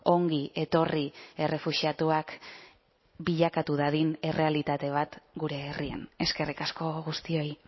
ongi etorri errefuxiatuak bilakatu dadin errealitate bat gure herrian eskerrik asko guztioi